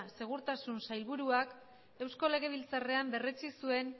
segurtasun sailburuak eusko legebiltzarrean berretsi zuen